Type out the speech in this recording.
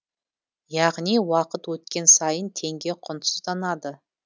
яғни уақыт өткен сайын теңге құнсызданады